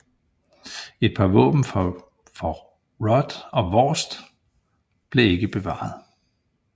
Et par våben for Rod og Vårst blev ikke bevaret